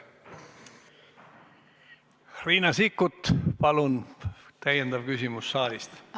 Riina Sikkut, palun täiendav küsimus saalist!